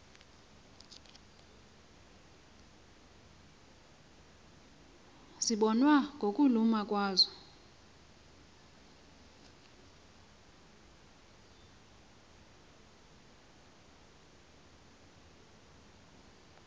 zibonwa ngokuluma kwazo